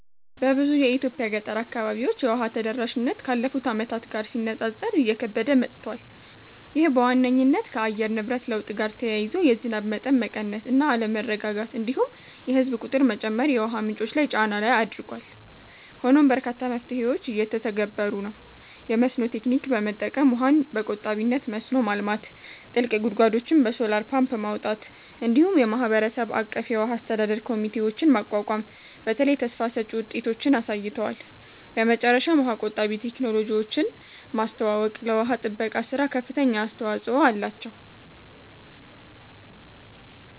በብዙ የኢትዮጵያ ገጠር አካባቢዎች የውሃ ተደራሽነት ካለፉት ዓመታት ጋር ሲነጻጸር እየከበደ መጥቷል። ይህ በዋነኝነት ከአየር ንብረት ለውጥ ጋር ተያይዞ የዝናብ መጠን መቀነስ እና አለመረጋጋት፣ እንዲሁም የህዝብ ቁጥር መጨመር የውሃ ምንጮች ላይ ጫና ላይ አድርጓል። ሆኖም በርካታ መፍትሄዎች እየተተገበሩ ነው፤ የመስኖ ቴክኒክ በመጠቀም ውሃን በቆጣቢነት መስኖ ማልማት፣ ጥልቅ ጉድጓዶችን በሶላር ፓምፕ ማውጣት፣ እንዲሁም የማህበረሰብ አቀፍ የውሃ አስተዳደር ኮሚቴዎችን ማቋቋም በተለይ ተስፋ ሰጭ ውጤቶችን አሳይተዋል። በመጨረሻም የውሃ ቆጣቢ ቴክኖሎጂዎችን ማስተዋወቅ ለውሃ ጥበቃ ሥራ ከፍተኛ አስተዋጽኦ አላቸው።